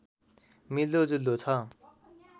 मिल्दो जुल्दो छ